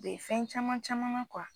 U be fɛn caman caman na kuwa